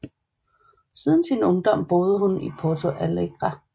Siden sin ungdom boede hun i Porto Alegre